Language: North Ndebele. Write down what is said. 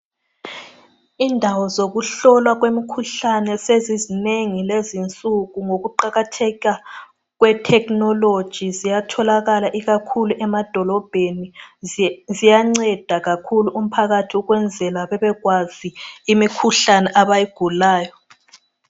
Indawo zokuhlolwa kwemikhuhlane sezizinengi kulezinsuku ngokuqakatheka kwethekhinologi ziyatholakala ikakhulu emadolobheni ziyanceda kakhulu umphakathi ukwenzela ukuthi bebekwazi imikhuhlane abayigulayo.